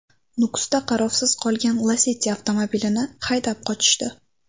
Nukusda qarovsiz qolgan Lacetti avtomobilini haydab qochishdi.